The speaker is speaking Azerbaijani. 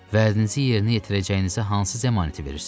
Vədinizi yerinə yetirəcəyinizə hansı zəmanəti verirsiz?